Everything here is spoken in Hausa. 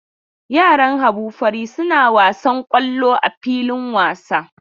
Yaran Habu fari suna wasan kwallo a filin wasa.